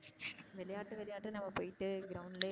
விளையாட்டு விளையாட்டுனு அவ போயிட்டு ground லையே